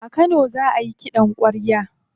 A kano za ayi kiɗan kwarya.